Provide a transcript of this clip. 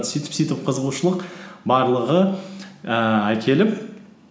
сөйтіп сөйтіп қызығушылық барлығы ііі әкеліп